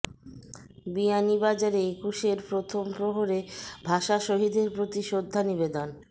বিয়ানীবাজারে একুশের প্রথম প্রহরে ভাষা শহীদদের প্রতি শ্রদ্ধা নিবেদন